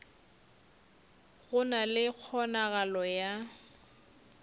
go na le kgonagalo ya